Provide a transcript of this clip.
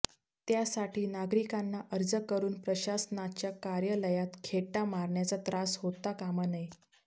त्यासाठी नागरिकांना अर्ज करून प्रशासनाच्या कार्यालयांत खेटा मारण्याचा त्रास होता कामा नये